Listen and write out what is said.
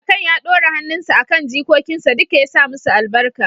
kakan ya ɗora hannunsa a kan jikokinsa duka ya sa musu albarka